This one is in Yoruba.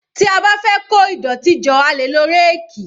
Tí a bá fẹ́ kó ìdọ̀tí jọ a lè lo ráàkì